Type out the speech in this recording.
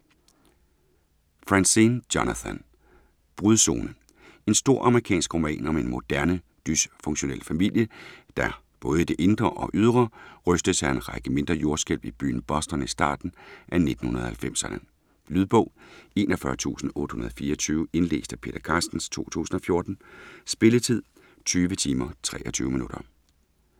Franzen, Jonathan: Brudzone En stor amerikansk roman om en moderne, dysfunktionel familie, der, både i det indre og ydre, rystes af en række mindre jordskælv i byen Boston i starten af 1990'erne. Lydbog 41824 Indlæst af Peter Carstens, 2014. Spilletid: 20 timer, 23 minutter.